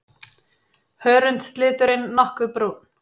Hörundsliturinn nokkuð brúnn.